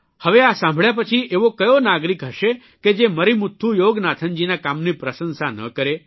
હવે આ સાંભળ્યા પછી એવો કયો નાગરિક હશે કે જે મરીમુથ્થુ યોગનાથનજીના કામની પ્રશંસા ન કરે